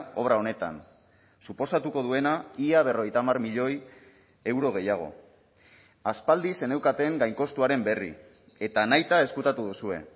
obra honetan suposatuko duena ia berrogeita hamar milioi euro gehiago aspaldi zeneukaten gainkostuaren berri eta nahita ezkutatu duzue